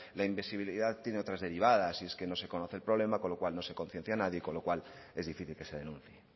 la invisibilidad tiene otras derivadas y es que no se conoce el problema con lo cual no se conciencia nadie y con lo cual es difícil que se denuncie